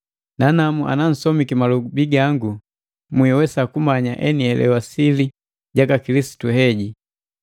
nanamu anansomiki malobi gangu mwiwesa kumanya enihelewa sili jaka Kilisitu heji.